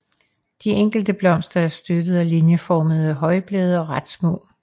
De enkelte blomster er støttet af linjeformede højblade og ret små